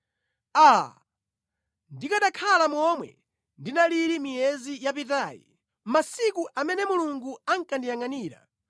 “Aa! Ndikanakhala momwe ndinalili miyezi yapitayi, masiku amene Mulungu ankandiyangʼanira,